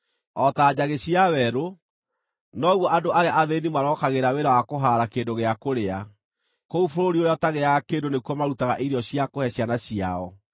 O ta njagĩ cia werũ, noguo andũ arĩa athĩĩni marokagĩra wĩra wa kũhaara kĩndũ gĩa kũrĩa; kũu bũrũri ũrĩa ũtagĩaga kĩndũ nĩkuo marutaga irio cia kũhe ciana ciao.